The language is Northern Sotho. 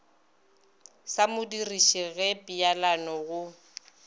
sa modirišo ge peelano go